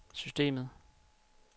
systemet